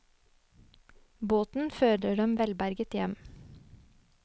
Båten fører dem velberget hjem.